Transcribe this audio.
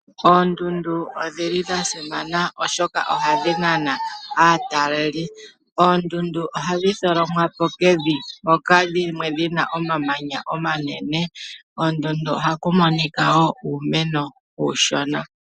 Oondundu odha simana, oshoka ohadhi nana aatalelipo. Oondundu ohadhi tholomwa po kevi hoka dhimwe dhi na omamanya omanene. Koondundu ohaku monika wo uumeno uushona.